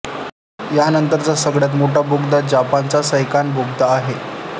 यानंतरचा सगळ्यात मोठा बोगदा जपानचा सैकान बोगदा आहे